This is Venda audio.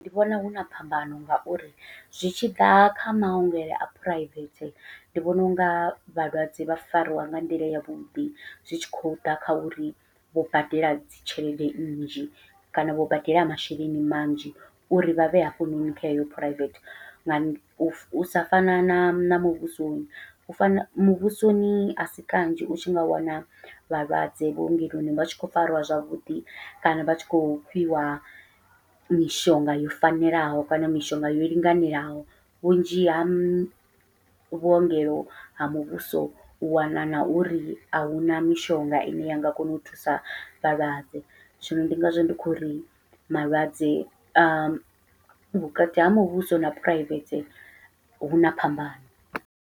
Ndi vhona huna phambano ngauri zwi tshiḓa kha maongelo a phuraivethe ndi vhona unga vhalwadze vha fariwa nga nḓila yavhuḓi zwi tshi khou ḓa kha uri vho badela dzi tshelede nnzhi kana vho badela masheleni manzhi uri vhavhe hafhanoni kha heyo phuraivethe, nga u sa fana na na muvhusoni u fana muvhusoni asi kanzhi u tshi nga wana vhalwadze vhuongeloni vha tshi khou fariwa zwavhuḓi, kana vha tshi khou fhiwa mishonga yo fanelaho kana mishonga yo linganelaho, vhunzhi ha vhuongelo ha muvhuso u wana na uri ahuna mishonga ine u ya nga kona u thusa vhalwadze, zwino ndi ngazwo ndi khou ri malwadze a vhukati ha muvhuso na phuraivethe huna phambano.